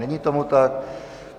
Není tomu tak.